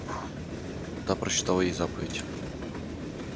да прочитала ей заповедь